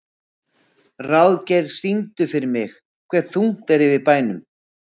Ráðgeir, syngdu fyrir mig „Hve þungt er yfir bænum“.